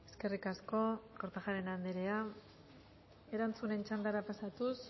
eskerrik asko kortajarena anderea erantzunen txandara pasatuz